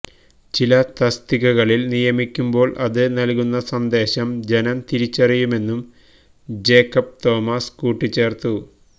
ചില തസ്തികകളില് നിയമിക്കുമ്പോള് അത് നല്കുന്ന സന്ദേശം ജനം തിരിച്ചറിയുമെന്നും ജേക്കബ് തോമസ് കൂട്ടിച്ചേർത്തു